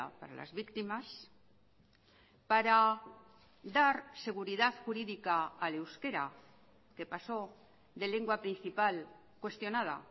para las víctimas para dar seguridad jurídica al euskera que pasó de lengua principal cuestionada